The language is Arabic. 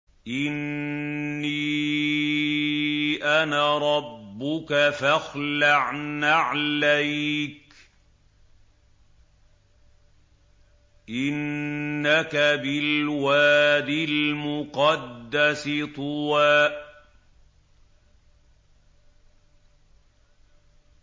إِنِّي أَنَا رَبُّكَ فَاخْلَعْ نَعْلَيْكَ ۖ إِنَّكَ بِالْوَادِ الْمُقَدَّسِ طُوًى